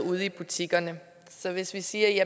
ude i butikkerne hvis vi siger at